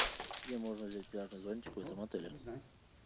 где можно взять пляжный зонтик в этом отеле